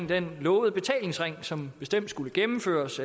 den lovede betalingsring som bestemt skulle gennemføres